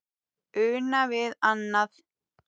Una við annað.